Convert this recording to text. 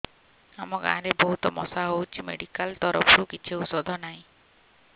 ଆମ ଗାଁ ରେ ବହୁତ ମଶା ହଉଚି ମେଡିକାଲ ତରଫରୁ କିଛି ଔଷଧ ନାହିଁ